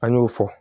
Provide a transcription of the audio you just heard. An y'o fɔ